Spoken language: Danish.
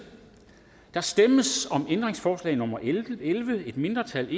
der stemmes om ændringsforslag nummer elleve af et mindretal